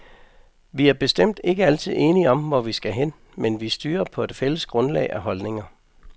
Vi er bestemt ikke altid enige om, hvor vi skal hen, men vi styrer på et fælles grundlag af holdninger.